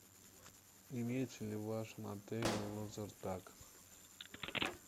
имеется ли в вашем отеле лазертаг